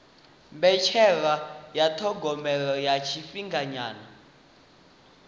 mbetshelwa ya thogomelo ya tshifhinganyana